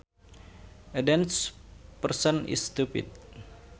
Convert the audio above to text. A dense person is stupid